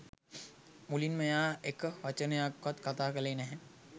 මුලින්ම එයා එක වචනයක්වත් කතා කළේ නැහැ